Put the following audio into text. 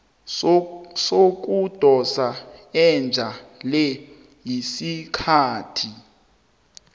sokudosa ejele isikhathi